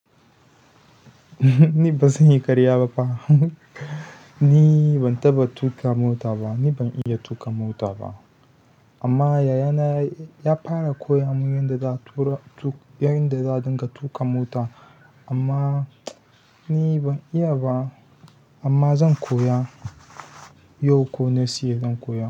Ni ba zan yi karya ba fa. Ni ban taɓa tuƙa mota ba, ni ban iya tuƙa mota ba. Amma yaya na ya fara koya mun yanda za'a tuƙa, yadda za dinga tuƙa mota. Amma ni ban iya ba amma zan koya. Yau ko next year zan koya.